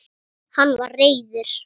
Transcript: Hann var reiður.